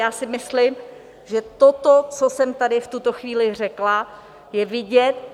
Já si myslím, že toto, co jsem tady v tuto chvíli řekla, je vidět.